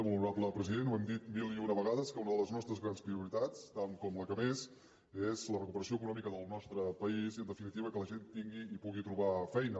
molt honorable president ho hem dit mil i una vegades que una de les nostres grans prioritats tant com la que més és la recuperació econòmica del nostre país i en definitiva que la gent tingui i pugui trobar feina